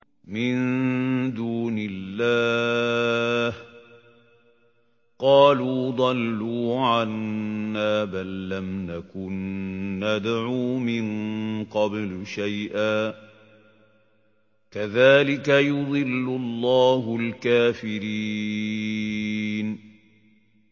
مِن دُونِ اللَّهِ ۖ قَالُوا ضَلُّوا عَنَّا بَل لَّمْ نَكُن نَّدْعُو مِن قَبْلُ شَيْئًا ۚ كَذَٰلِكَ يُضِلُّ اللَّهُ الْكَافِرِينَ